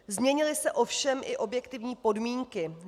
Změnily se ovšem i objektivní podmínky.